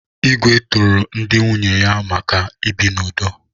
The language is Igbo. Igwe toro ndị nwunye ya maka ibi n'udo.